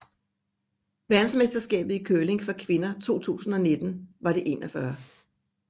Verdensmesterskabet i curling for kvinder 2019 var det 41